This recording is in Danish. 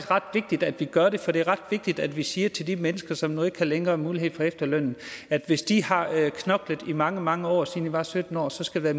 ret vigtigt at vi gør det for det er ret vigtigt at vi siger til de mennesker som nu ikke længere har mulighed for efterløn at hvis de har knoklet i mange mange år siden de var sytten år skal der